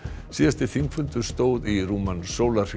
síðasti þingfundur stóð í rúman sólarhring